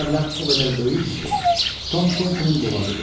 Bu məbləğ o qədər böyük idi ki, Tom Kentin boğazı qurudu.